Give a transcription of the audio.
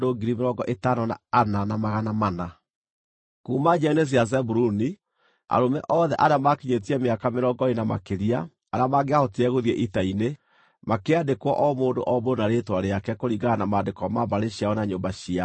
Kuuma njiaro-inĩ cia Zebuluni: Arũme othe arĩa maakinyĩtie mĩaka mĩrongo ĩĩrĩ kana makĩria, arĩa mangĩahotire gũthiĩ ita-inĩ makĩandĩkwo o mũndũ o mũndũ na rĩĩtwa rĩake kũringana na maandĩko ma mbarĩ ciao na nyũmba ciao.